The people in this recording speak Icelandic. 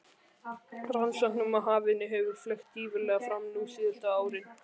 Rannsóknum á hafinu hefur fleygt gífurlega fram nú síðustu árin.